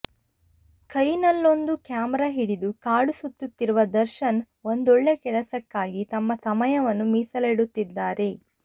ಕೈ ನಲ್ಲೊಂದು ಕ್ಯಾಮೆರಾ ಹಿಡಿದು ಕಾಡು ಸುತ್ತುತ್ತಿರುವ ದರ್ಶನ್ ಒಂದೊಳ್ಳೆ ಕೆಲಸಕ್ಕಾಗಿ ತಮ್ಮ ಸಮಯವನ್ನು ಮೀಸಲಿಡುತ್ತಿದ್ದಾರೆ